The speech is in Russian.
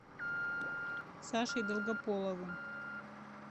сашей долгополовым